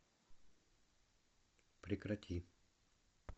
прекрати